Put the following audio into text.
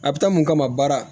A bɛ taa mun kama baara